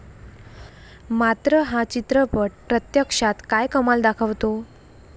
मात्र, हा चित्रपट प्रत्यक्षात काय कमाल दाखवतो?